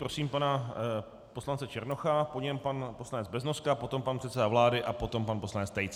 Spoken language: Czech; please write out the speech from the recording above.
Prosím pana poslance Černocha, po něm pan poslanec Beznoska, potom pan předseda vlády a potom pan poslanec Tejce.